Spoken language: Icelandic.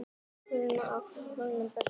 Birkir á fjögur börn.